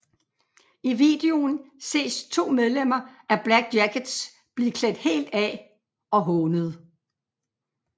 I videoen ses to medlemmer af Black Jackets blive klædt helt af og hånet